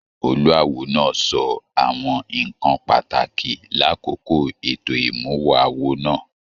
Olúáwo náà sọ àwọn nnkan pàtàkì l'akoko ètò imuwọ̀ awo náà.